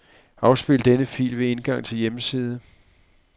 Afspil denne fil ved indgang til hjemmeside.